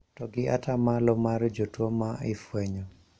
To gi atamalo mar jotuo ma ifwenyo